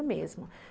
Não lembro mesmo.